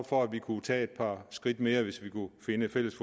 for at vi kunne tage et par skridt mere hvis vi kunne finde fælles